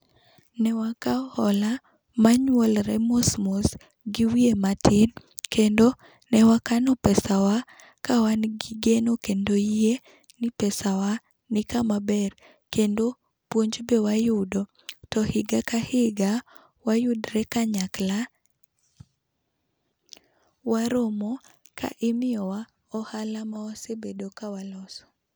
Ne wakao ola ma nyuolre mos mos gi wiye matin kendo ne wakano pesa wa wan gi geno kendo yie ni pesa wa ni kama ber. kendo puonj be wayudo to higa ka higa wayudre kanyakla waromo to imiyo wa ohala ma wasebedo ka waloso.